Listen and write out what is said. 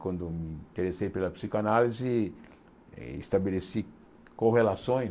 Quando me interessei pela psicanálise, estabeleci correlações.